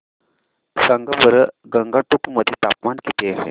सांगा बरं गंगटोक मध्ये तापमान किती आहे